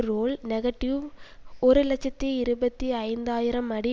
role negative ஒரு இலட்சத்தி இருபத்தி ஐந்து ஆயிரம் அடி